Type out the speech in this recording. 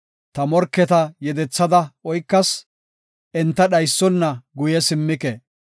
Ta morketa yedethada oykas; enta dhaysona guye simmike.